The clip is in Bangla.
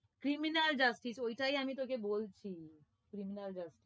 criminal justice ওটাই আমি তোকে বলছি criminal justice